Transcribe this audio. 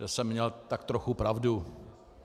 To jsem měl tak trochu pravdu.